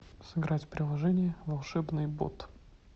сыграть в приложение волшебный бот